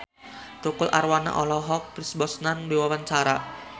Tukul Arwana olohok ningali Pierce Brosnan keur diwawancara